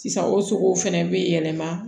Sisan o sogow fɛnɛ bɛ yɛlɛma